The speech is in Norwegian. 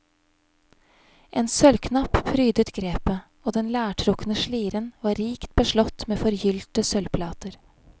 En sølvknapp prydet grepet, og den lærtrukne sliren var rikt beslått med forgylte sølvplater.